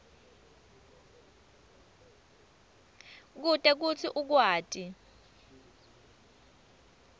kute kutsi ukwati